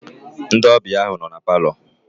Ndị ọbịa ahụ nọ na palọ.